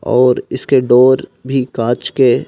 और इसके डोर भी काच के--